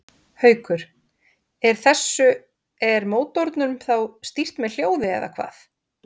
Haukur: Er þessu, er mótornum þá stýrt með hljóði eða hvað?